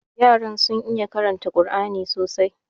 Yaran sun iya karanta Kur'ani sosai.